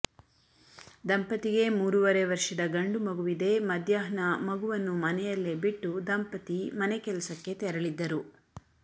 ದಂಪತಿಗೆ ಮೂರುವರೆ ವರ್ಷದ ಗಂಡು ಮಗುವಿದೆ ಮಧ್ಯಾಹ್ನ ಮಗುವನ್ನು ಮನೆಯಲ್ಲೇ ಬಿಟ್ಟು ದಂಪತಿ ಮನೆ ಕೆಲಸಕ್ಕೆ ತೆರಳಿದ್ದರು